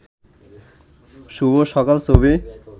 শুভ সকাল ছবি